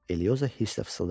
Eliyosa hisslə fısıldadı.